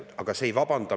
Ent see meid täna ei vabanda.